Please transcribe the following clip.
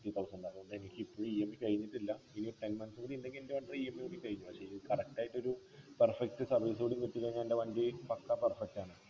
എനിക്കിപ്പോഴും EMI കഴിഞ്ഞിട്ടില്ല ഇനിയൊരു ten months കൂടി ഉണ്ടെങ്കി എൻ്റെ EMI കൂടി കഴിയും അത് ശരി correct ആയിട്ടൊരു perfect service കൂടി കിട്ടിനെങ്കി എൻ്റെ വണ്ടി പക്കാ perfect ആണ്